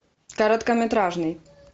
короткометражный